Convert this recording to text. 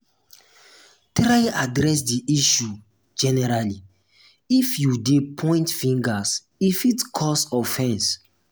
try address di um issue generally if you de point fingers e fit cause offense